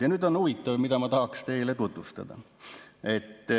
Ja nüüd on huvitav asi, mida ma tahaksin teile tutvustada.